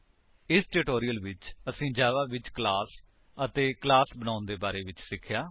ਇਸ ਟਿਊਟੋਰਿਅਲ ਵਿੱਚ ਅਸੀਂ ਜਾਵਾ ਵਿੱਚ ਕਲਾਸ ਅਤੇ ਕਲਾਸ ਬਣਾਉਣ ਦੇ ਬਾਰੇ ਵਿੱਚ ਸਿੱਖਿਆ